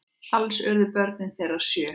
Alls urðu börn þeirra sjö.